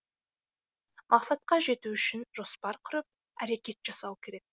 мақсатқа жету үшін жоспар құрып әрекет жасау керек